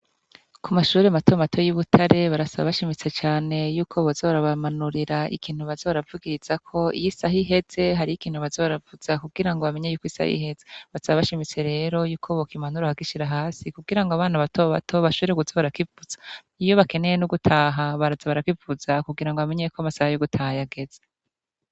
Kumashure matomato yi Butare barasaba bashimitse Cane Yuko boza barabamanurira ikintu baza baravugiriza ko iyisaha iheze hari ikintu baza baravuzaho kugira bamenyeko isaha iheze , basaba bashimitse ko bokimanura bakagishira hasi kugirango abana bato bato bashobore kuza barakivuza iyo bakeneye no gutaha baza barakivuza kugira bamenyeko amasaha yageze.